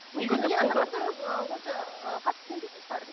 онша ыыы қатты сенбейтін шығар